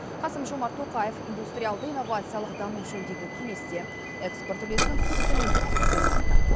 қасым жомарт тоқаев индустриалды инновациялық даму жөніндегі кеңесте экспорт үлесінің күрт төмендеп кеткенін айтты